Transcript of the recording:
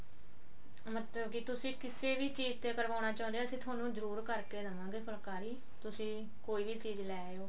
ਮਤਲਬ ਕੀ ਤੁਸੀਂ ਕਿਸੇ ਵੀ ਚੀਜ਼ ਤੇ ਕਰਵਾਉਣਾ ਚਾਹੁੰਦੇ ਹੋ ਅਸੀਂ ਥੋਨੂੰ ਜਰੁਰ ਕਰਕੇ ਦਵਾਂਗੇ ਫੁਲਕਾਰੀ ਤੁਸੀਂ ਕੋਈ ਵੀ ਚੀਜ਼ ਲੈ ਆਓ